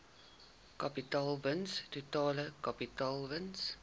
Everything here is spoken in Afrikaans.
kapitaalwins totale kapitaalwins